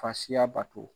Fasiya bato